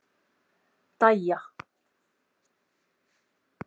Dæja